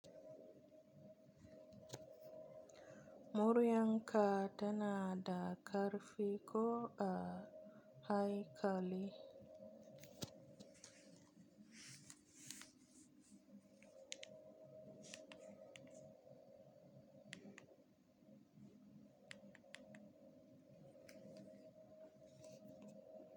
Muryarka tana da ƙarfi ko a haikali?